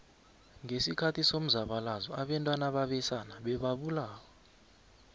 ngesikhathi somzabalazo obantwana babesana bebabulawa